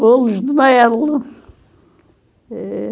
Bolos de mel. Eh...